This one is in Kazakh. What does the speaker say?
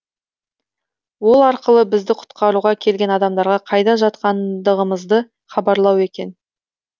ол арқылы бізді құтқаруға келген адамдарға қайда жатқандығымызды хабарлау екен